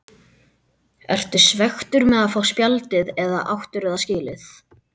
Ertu svekktur með að fá spjaldið eða áttirðu það skilið?